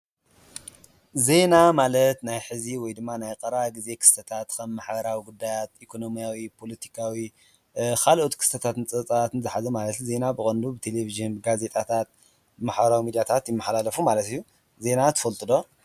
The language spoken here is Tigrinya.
ዜና ማለት ናይ ሐዚ ወይ ድማ ናይ ቐረባ ክስተታት ከም ማሕበራዊ ጉዳያት ኢኮኖምያዊ፣ ፖለቲካዊ፣ ካልኦት ክስተታት ዝሓዘ ማለት እዩ። ዜና ብቀንዱ ብ ተሌቭዥን ፣ጋዜጣታት ማሕበራዊ ሚድያታት ይመሓላለፉ ማለት እዩ። ዜና ትፈልጡ ዶ?